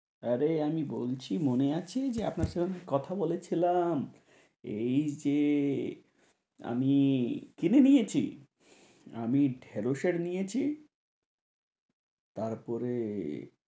আরে আমি বলছি মনে আছে যে, আপনার সাথে আমি কথা বলেছিলাম? এই যে আমি কিনে নিয়েছি। আমি ঢেড়শের নিয়েছি তারপরে